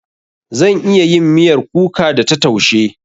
Zan iya yin miyar kuka da ta taushe.